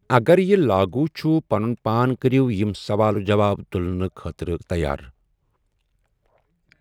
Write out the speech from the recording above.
اگر یہِ لاگوٗ چُھ، پنُن پان کٔرِو یِم سَوال جَواب تُلنہٕ خٲطرٕ تَیار۔